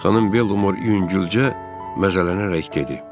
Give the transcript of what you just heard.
Xanım Belmor yüngülcə məzələnərək dedi: